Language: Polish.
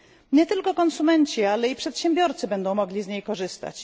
Nie tylko konsumenci, ale i przedsiębiorcy będą mogli z niej korzystać.